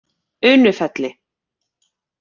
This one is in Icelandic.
Unufelli